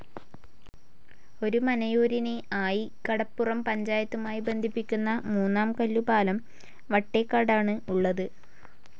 ഒരുമനയൂരിനെ, ആയികടപ്പുറം പഞ്ചായത്തുമായി ബന്ധിപ്പിക്കുന്ന മൂന്നാം കല്ലു പാലം വട്ടെക്കാടാണ് ഉള്ളത്.